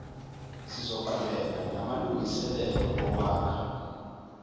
sizoqhubeka namalungiselelo okwakha